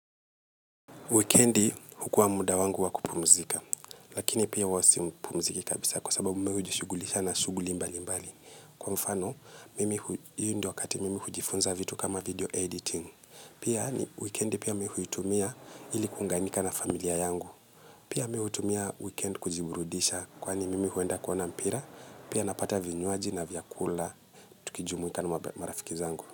Weekendi hukua muda wangu wakupumzika, lakini pia uwasipumziki kabisa kwa sababu mimi hujishugulisha na shuguli mbali mbali. Kwa mfano, hiyo ndio wakati mimi hu jifunza vitu kama video editing. Pia ni, weekend pia mimi hu yitumia ilikuunganika na familia yangu. Pia mimi hu yitumia weekend kujiburudisha, kwani mimi hu enda kuona mpira, pia napata vinyuaji na vyakula, tukijumwika na marafiki zangu.